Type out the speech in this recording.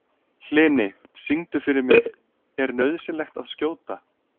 Hlini, syngdu fyrir mig „Er nauðsynlegt að skjóta“.